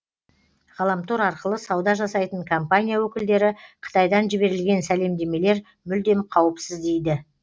ғаламтор арқылы сауда жасайтын компания өкілдері қытайдан жіберілген сәлемдемелер мүлдем қауіпсіз дейді